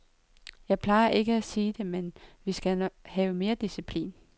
Jeg plejer ikke at sige det, men vi skal have mere disciplin.